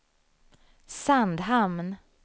Sandhamn